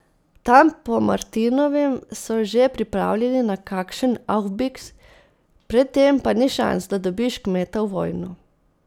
Tam po martinovem so že pripravljeni na kakšen aufbiks, pred tem pa ni šans, da dobiš kmeta v vojno.